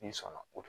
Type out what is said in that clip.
N'i sɔnna kojugu